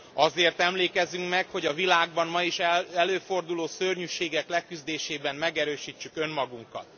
Azért emlékezzünk meg, hogy a világban ma is előforduló szörnyűségek leküzdésében megerősítsük önmagunkat.